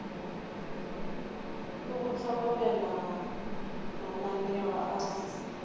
le go hlokomela mananeo a